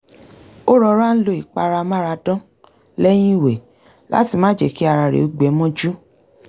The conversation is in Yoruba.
ó rọra ń lo ìpara amáradán lẹ́yìn ìwẹ̀ láti má jẹ́ kí ara rẹ̀ ó gbẹ mọ́jú